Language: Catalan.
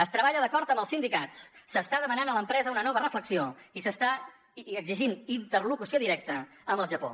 es treballa d’acord amb els sindicats s’està demanant a l’empresa una nova reflexió i s’està exigint interlocució directa amb el japó